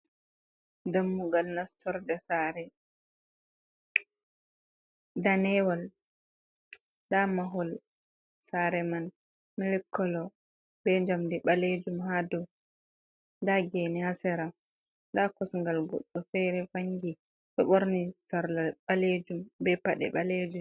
Dammugal nastorde saare, danewal nda mahol sare man milik kolo be njamdi ɓalejum ha dou, nda geene ha sera, nda kosgal goɗɗo feere vangi ɗo ɓorni sarla ɓaleejum be paɗe ɓaleejum.